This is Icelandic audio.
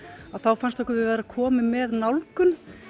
þá fannst okkur við vera komin með nálgun